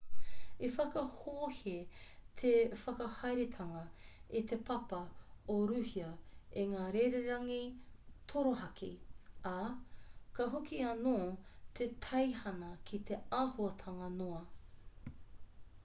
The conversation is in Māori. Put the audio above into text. i whakahohe te whakahaeretanga i te papa o rūhia i ngā rererangi torohaki ā ka hoki anō te teihana ki te āhuatanga noa